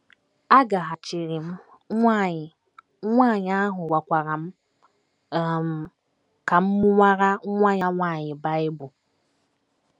Agaghachiri m, nwanyị nwanyị ahụ gwakwara m um ka m mụwara nwa ya nwanyị Bible.